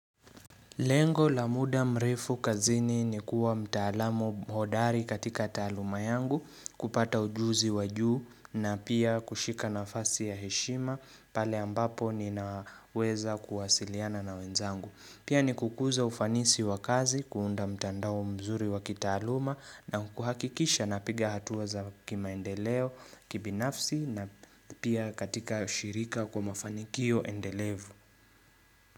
Lengo la muda mrefu kazini ni kuwa mtaalamu hodari katika taaluma yangu kupata ujuzi wajuu na pia kushika nafasi ya heshima pale ambapo ni naweza kuwasiliana na wenzangu. Pia ni kukuza ufanisi wa kazi kuunda mtandao mzuri wa kitaaluma na kuhakikisha napiga hatuwa za kimaendeleo kibinafsi na pia katika shirika kwa mafanikio endelevu.